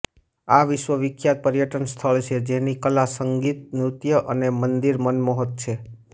આ વિશ્વ વિખ્યાત પર્યટન સ્થાન છે જેની કલા સંગીત નૃત્ય અને મન્દિર મનમોહક છે